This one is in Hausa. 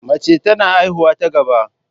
Mace tana haihuwa ta gaba.